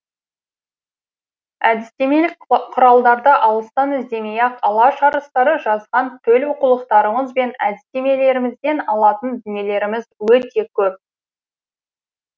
әдістемелік құралдарды алыстан іздемей ақ алаш арыстары жазған төл оқулықтарымыз бен әдістемелерімізден алатын дүниелеріміз өте көп